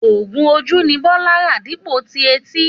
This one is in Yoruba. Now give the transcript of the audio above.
Ògùn ojú ni Bólá rà dípò tí etí